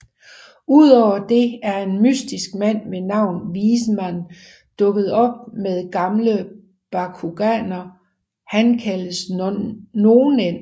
Udover det er en mystisk mand ved navn Wiseman dukket op med gamle Bakuganer han kalder Nonets